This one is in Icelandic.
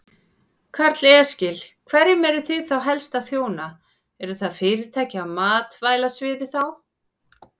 Telma: Já, og hvernig verður þetta, hvernig verður þessu svona háttað?